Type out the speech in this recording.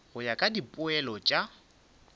go ya ka dipoelo tša